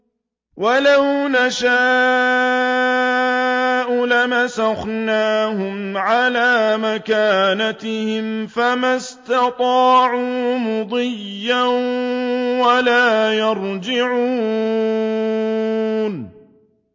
وَلَوْ نَشَاءُ لَمَسَخْنَاهُمْ عَلَىٰ مَكَانَتِهِمْ فَمَا اسْتَطَاعُوا مُضِيًّا وَلَا يَرْجِعُونَ